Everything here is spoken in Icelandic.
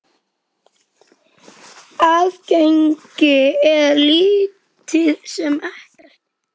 Aðgengi er lítið sem ekkert.